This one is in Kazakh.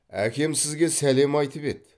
әкем сізге сәлем айтып еді